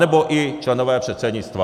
Anebo i členové předsednictva.